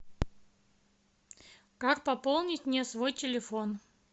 как пополнить мне свой телефон